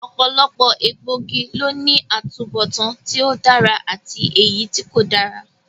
Ọ̀pọ̀lọpọ̀ egbòogi ló ní atubọtan tí ó dára àti èyítí kò dára